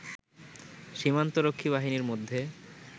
সীমান্ত রক্ষী বাহিনীর মধ্যে